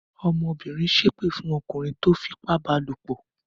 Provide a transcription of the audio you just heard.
Ọmọbìnrin ṣépè fún ọkùnrin tó fipá ba lòpọ̀?